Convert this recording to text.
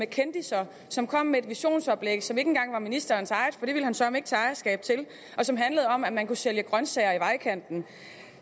af kendisser som kom med et visionsoplæg som ikke engang var ministerens eget for det ville han søreme ikke tage ejerskab til og som handlede om at man kunne sælge grønsager i vejkanten